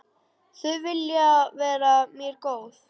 Þau vilja vera mér góð.